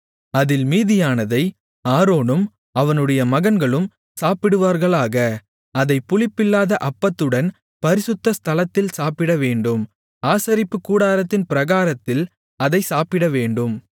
அதில் மீதியானதை ஆரோனும் அவனுடைய மகன்களும் சாப்பிடுவார்களாக அதை புளிப்பில்லாத அப்பத்துடன் பரிசுத்த ஸ்தலத்தில் சாப்பிடவேண்டும் ஆசரிப்புக்கூடாரத்தின் பிராகாரத்தில் அதைச் சாப்பிடவேண்டும்